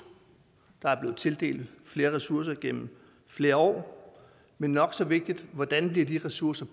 der er blevet tildelt flere ressourcer gennem flere år men nok så vigtigt hvordan de ressourcer